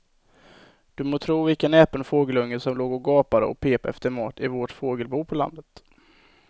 Du må tro vilken näpen fågelunge som låg och gapade och pep efter mat i vårt fågelbo på landet.